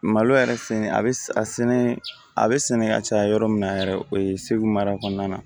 Malo yɛrɛ fɛn a bɛ a sɛnɛ a bɛ sɛnɛ ka caya yɔrɔ min na yɛrɛ o ye segu mara kɔnɔna na